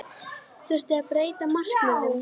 Þurfti að breyta markmiðum?